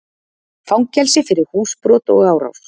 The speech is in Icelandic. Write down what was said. Fangelsi fyrir húsbrot og árás